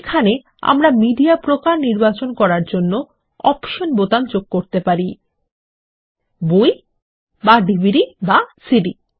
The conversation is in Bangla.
এখানে আমরা মিডিয়া প্রকার নির্বাচন করার জন্য অপশন বোতাম যোগ করতে পারি বই বা ডিভিডি বা সিডি